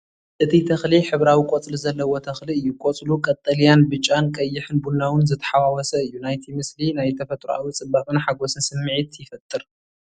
እቲ ተኽሊ ሕብራዊ ቆጽሊ ዘለዎ ተኽሊ እዩ። ቆጽሉ ቀጠልያን ብጫን ቀይሕን ቡናዊን ዝተሓዋወሰ እዩ። ናይቲ ምስሊ ናይ ተፈጥሮኣዊ ጽባቐን ሓጎስን ስምዒት ይፈጥር።